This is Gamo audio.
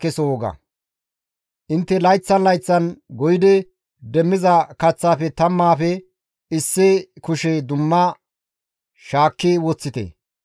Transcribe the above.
Intte layththan layththan goyidi demmiza kaththafe tammaafe issi kushe dumma shaakki woththite.